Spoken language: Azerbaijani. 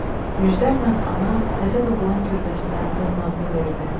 Yüzlərlə ana təzə doğulan körpəsinə onun adını verdi.